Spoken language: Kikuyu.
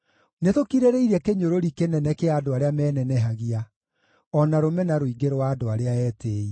Nĩtũkirĩrĩirie kĩnyũrũri kĩnene kĩa andũ arĩa menenehagia, o na rũmena rũingĩ rwa andũ arĩa etĩĩi.